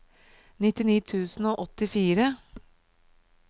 nittini tusen og åttifire